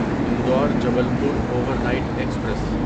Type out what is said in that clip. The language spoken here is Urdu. Indore Jabalpur overnight express